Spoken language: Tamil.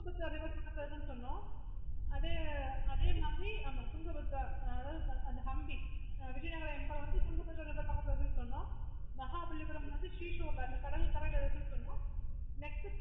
அது வந்து அதாவது அந்த humpiviajynagar empire வந்து Tungabhadra river பக்கத்துல இருக்கு சொன்னோம்